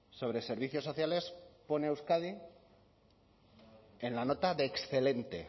sobre servicios sociales pone a euskadi en la nota de excelente